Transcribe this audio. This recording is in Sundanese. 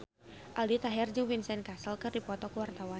Aldi Taher jeung Vincent Cassel keur dipoto ku wartawan